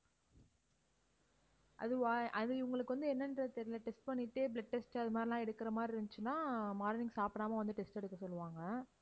அதுவா அது இவங்களுக்கு வந்து என்னன்றனு தெரியல. test பண்ணிட்டு blood test அது மாதிரி எல்லாம் எடுக்குற மாதிரி இருந்துச்சுன்னா morning சாப்பிடாம வந்து test எடுக்கச் சொல்லுவாங்க